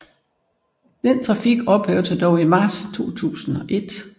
Den trafik ophørte dog i marts 2001